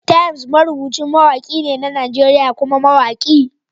Temz marubucin mawaki ne na Najeriya kuma mawaki.